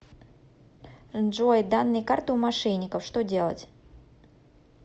джой данные карты у мошенников что делать